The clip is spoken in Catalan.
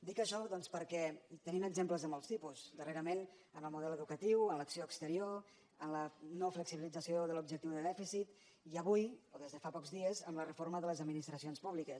dic això doncs perquè en tenim exemples de molts tipus darrerament en el model educatiu en l’acció exterior en la no flexibilització de l’objectiu de dèficit i avui o des de fa pocs dies amb la reforma de les administracions públiques